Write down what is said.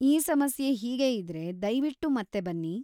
ಈ ಸಮಸ್ಯೆ ಹೀಗೇ ಇದ್ರೆ, ದಯ್ವಿಟ್ಟು ಮತ್ತೆ ಬನ್ನಿ.